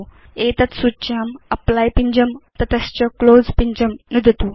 एतत् सूच्यां एप्ली पिञ्जं नुदतु तत च क्लोज़ पिञ्जं नुदतु